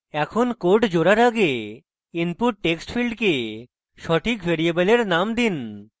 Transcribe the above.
এখন code জোড়ার আগে input text ফীল্ডকে সঠিক ভ্যারিয়েবলের names দিন